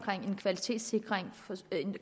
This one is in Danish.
en kvalitetssikring